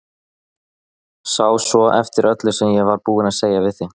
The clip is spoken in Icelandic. Sá svo eftir öllu sem ég var búin að segja við þig.